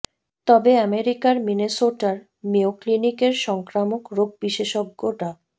তবে আমেরিকার মিনেসোটার মেয়ো ক্লিনিকের সংক্রামক রোগ বিশেষজ্ঞ ডা